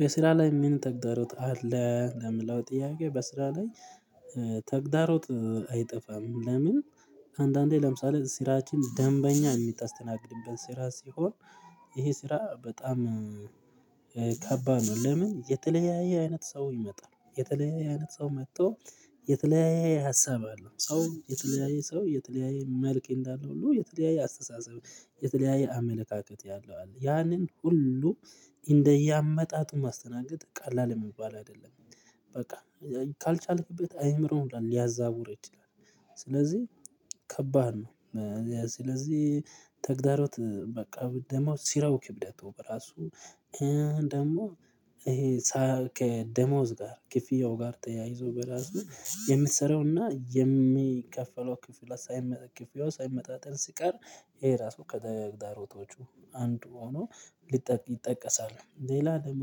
በስራ ላይ ምን ተግዳሮት አለ? ለሚለው ጥያቄ በስራ ላይ ተግዳሮት አይጠፋም። ለምን? አንዳንዴ ለምሳሌ ስራችን ደንበኛ የምታስተናግድበት ስራ ሲሆን ይሄ ስራ በጣም ከባድ ነው። ለምን? የተለያየ አይነት ሰው ይመጣል የተለያየ አይነት ሰው መጥቶ የተለያየ ሀሳብ አለው ሰው የተለያየ ሰው የተለያየ መልክ እንዳለ ሁሉ የተለያየ አስተሳሰብ የተለያየ አመለካከት ያለው አለ ያንን ሁሉ እንደየ አመጣጡ ማስተናገድ ቀላል የሚባል አይደለም። በቃ ካልቻልክበት አይምሮውን ሊያዛቡ ይችላል። ስለዚህ ከባድ ነው። ስለዚህ ተግዳሮት በቃ ደሞዝ ሲረው ክብደቱ በራሱ። ደግሞ ይሄ ከደሞዝ ጋር ክፍያው ጋር ተያይዞ በራሱ የምትሰራውና የሚከፈለው ክፍያ ሳይመጣጠን ክፍያው ሳይመጣጠን ሲቀር ይሄ ራሱ ከተግዳሮቹ አንዱ ሆኖ ሊጠቅ ይጠቀሳሉ ሌላ ደግሞ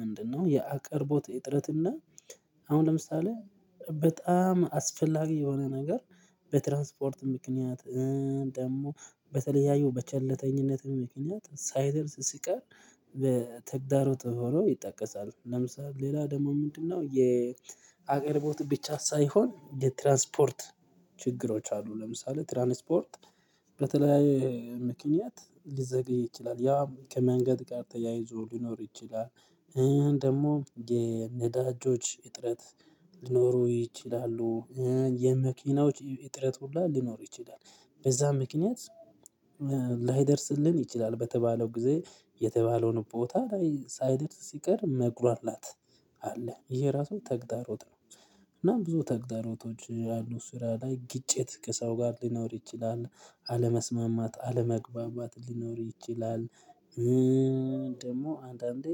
ምንድነው? የአቅርቦት እጥረት እና አሁን ለምሳሌ በጣም አስፈላጊ የሆነ ነገር በትራንስፖርት ምክንያት። ደግሞ በተለያዩ በቸልተኝነት ምክንያት ሳይደርስ ሲቀር በተግዳሮት ተብሎ ይጠቀሳል። ለምሳሌ ሌላ ደግሞ ምንድነው? የአቅርቦት ብቻ ሳይሆን የትራንስፖርት ችግሮች አሉ። ለምሳሌ ትራንስፖርት በተለይ ምክንያት ሊዘገይ ይችላል ያ ከመንገድ ጋር ተያይዞ ሊኖር ይችላል። ደግሞ የነዳጆች እጥረት ሊኖሩ ይችላሉ። የመኪናዎች እጥረት ሁላ ሊኖር ይችላል። በዛ ምክንያት ላይደርስልን ይችላል በተባለው ጊዜ የተባለውን ቦታ ላይ ሳይድር ሲቀር መግራላት። አለ ይሄ ራሱ ተግታሮት ነው። እና ብዙ ተግዳሮቶች ያሉ ስራ ላይ ግጭት ከሰው ጋር ሊኖር ይችላል። አለመስማማት አለመግባባት ሊኖር ይችላል። ደግሞ አንዳንዴ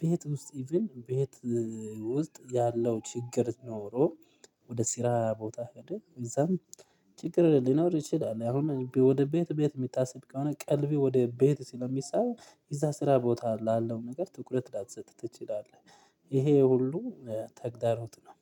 ቤት ውስጥ ቤት ውስጥ ያለው ችግር ኖሮ ወደ ሲራ ቦታ ሄደህ እዛም ችግር ሊኖር ይችላል። አሁን ወደ ቤት ቤት የሚታሰብ ከሆነ ቀልቤ ወደ ቤት ሲለው ስለሚሳብ እዛ ስራ ቦታ ላለው ነገር ትኩረት ላትሰጥ ትችላለህ። ይሄ ሁሉ ተግዳሮት ነው